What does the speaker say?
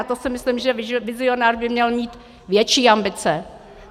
A to si myslím, že vizionář by měl mít větší ambice.